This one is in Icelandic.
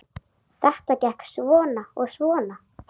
Þetta gekk svona og svona.